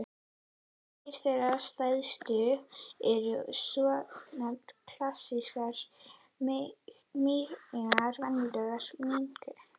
Tveir þeirra stærstu eru svonefnt klassískt mígreni og venjulegt mígreni.